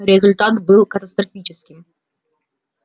результат был катастрофическим